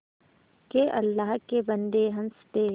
के अल्लाह के बन्दे हंस दे